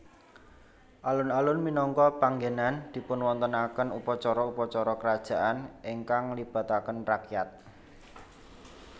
Alun alun minangka panggènan dipunwontenaken upacara upacara kerajaan ingkang nglibataken rakyat